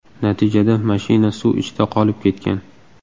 Natijada mashina suv ichida qolib ketgan.